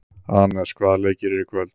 Anes, hvaða leikir eru í kvöld?